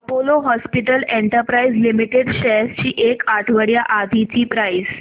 Apollo Hospitals Enterprise Limited shares ची एक आठवड्या आधीची प्राइस